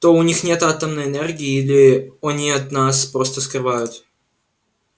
то у них нет атомной энергии или они от нас просто скрывают